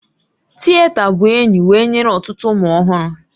Tita bụ enyi wee nyere ọtụtụ ụmụ ọhụrụ